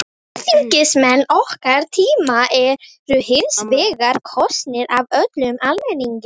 Alþingismenn okkar tíma eru hins vegar kosnir af öllum almenningi.